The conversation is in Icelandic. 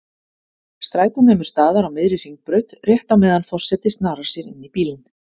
Strætó nemur staðar á miðri Hringbraut, rétt á meðan forseti snarar sér inní bílinn.